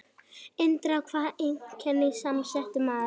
Indriði var einkennilega samsettur maður.